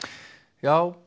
já